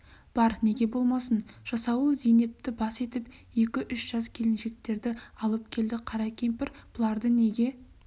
бар неге болмасын жасауыл зейнепті бас етіп екі-үш жас келіншектерді алып келді қара кемпір бұларды неге